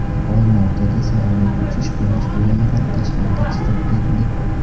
Olmaotada samolyot uchish-qo‘nish yo‘lagidan tashqariga chiqib ketdi.